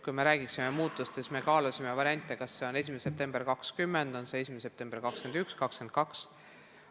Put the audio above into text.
Kui me räägime muutustest, siis ütlen, et me kaalusime variante, kas see on 1. september 2020, 1. september 2021 või 2022.